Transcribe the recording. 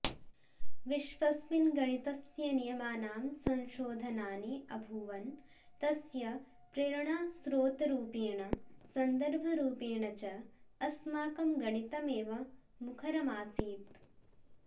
विश्वस्मिन् गणितस्य नियमानां संशोधनानि अभूवन् तस्य प्रेरणास्त्रोतरूपेण सन्दर्भरूपेण च अस्माकं गणितमेव मुखरमासीत्